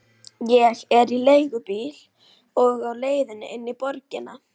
Ég er í leigubíl á leiðinni inn í borgina.